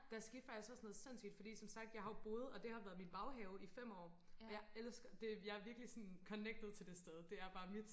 der skete faktisk også noget sindssygt fordi som sagt jeg har jo boet og det har været min baghave i fem år og jeg elsker det virkelig jeg er virkelig sådan connected til det sted det er bare mit